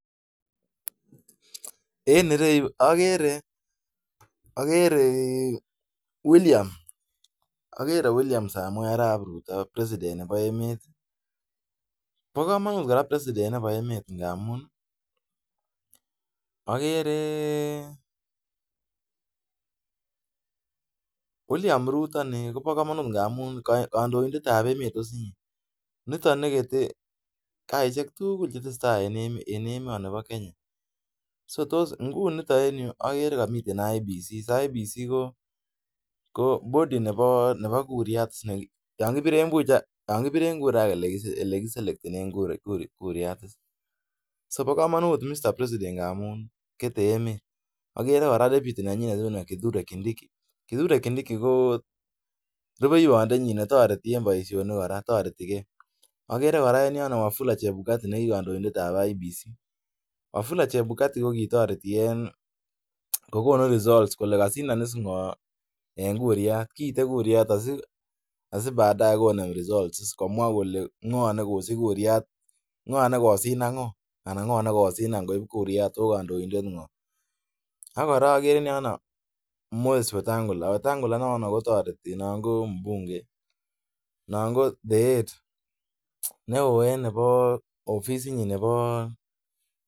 En ireyu agere agere, agere William. Agere William Samoe Arap Rutto our President nebo emet. Bo kamanut kora President nebo emet ngamun agere William Rutto ini kobo kamanut ngamun kandoindetab emet osinye. Nitok nekete kasisiek tugul che tesetai en emonibo Kenya. Sotos, ingunito en yu agere kamiten IEBC. IEBC ko body nebo nebo kuriatis neki, yon kibiren kuriat ak ele ki selektenen kuriat is. Sobo kamanut Mr. President ngamun kete emet. Agere kora deputy nenyinet Kithuria Kindiki. Kithuria Kindiki ko repeiywondenyin netoreti en boisionik kora. Toreti ke. Agere kora en yono Wafula Chepukati kotoretige. Ki kandoindetab IEBC, Wafula Chepukati ko kitoreti en kogonu results kole kasindonis ngo en kuriat. Kiite kuriat asi baadae konem results komwa kole ngo nekosich kuriat, ngonekosindan ngo anan ngone kosindan kuriat ago kandoindet ngo. Ak korok en yono, Moses Watangula. Wetangula inono kotareti non ko mbunge. Non ko the head. Neo ennebo ofisinyin nebo.